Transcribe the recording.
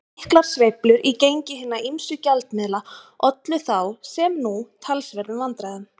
Miklar sveiflur í gengi hinna ýmsu gjaldmiðla ollu þá, sem nú, talsverðum vandræðum.